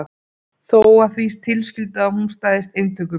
Þó að því tilskildu að hún stæðist inntökupróf.